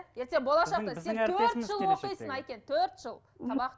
ертең болашақта әйкен төрт жыл